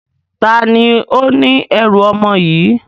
Taàní ó ní ẹ̀rù ọmọ yìí?